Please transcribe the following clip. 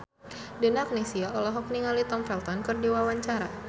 Donna Agnesia olohok ningali Tom Felton keur diwawancara